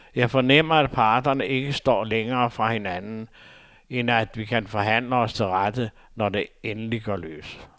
Jeg fornemmer, at parterne ikke står længere fra hinanden, end at vi kan forhandle os til rette, når det endelig går løs.